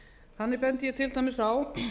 þannig bendi ég til dæmis á